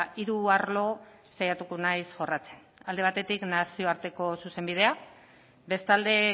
hiru arlo saiatuko naiz jorratzen alde batetik nazioarteko zuzenbidea bestalde